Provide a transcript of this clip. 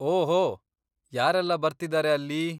ಓಹೋ, ಯಾರೆಲ್ಲ ಬರ್ತಿದಾರೆ ಅಲ್ಲಿ?